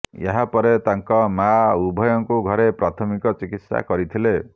ଏହାପରେ ତାଙ୍କ ମାଆ ଉଭୟଙ୍କୁ ଘରେ ପ୍ରାଥମିକ ଚିକିତ୍ସା କରିଥିଲେ